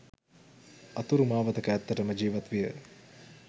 අතුරු මාවතක ඇත්තටම ජීවත් විය